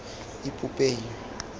ipopeng